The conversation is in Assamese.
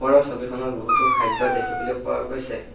ওপৰৰ ছবিখনত বহুতো খাদ্য দেখিবলৈ পোৱা গৈছে।